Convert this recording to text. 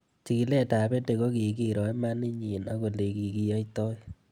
Chig'ilet ab EdTech ko kikiro imanit nyi ak ole kikiyaitoi